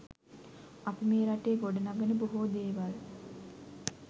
අපි මේ රටේ ගොඩ නගන බොහෝ දේවල්